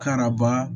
Karaba